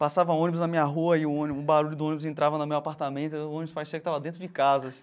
Passava ônibus na minha rua e o barulho do ônibus entrava no meu apartamento e o ônibus parecia que estava dentro de casa.